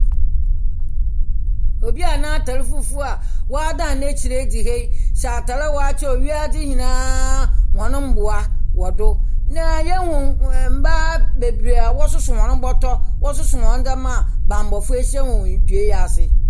Obia n'atar fufuw a w'adan n'ekyir edi he, hyɛ atar a w'akyerɛ do wiadzi nyinaa wo noboa wɔdo. Na yehu mmaa beberee wɔ susu bɔtɔ, wɔ susu wɔn n'dzeɛma banbɔfo ahyia wɔn ndua esi.